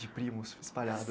De primos espalhado.